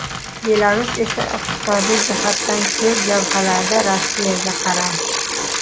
Belarus esa iqtisodiy jihatdan ko‘p jabhalarda Rossiyaga qaram.